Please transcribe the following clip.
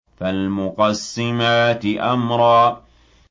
فَالْمُقَسِّمَاتِ أَمْرًا